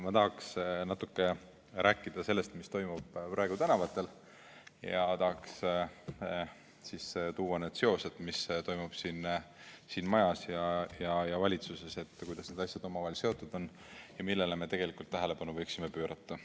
Ma tahaks natuke rääkida sellest, mis toimub praegu tänavatel, ja tahaks sisse tuua need seosed, mis toimub siin majas ja valitsuses ja kuidas need asjad omavahel seotud on ning millele me tegelikult tähelepanu võiksime pöörata.